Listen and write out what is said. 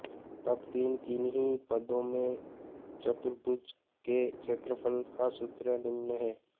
तब तीन किन्हीं पदों में चतुर्भुज के क्षेत्रफल का सूत्र निम्न है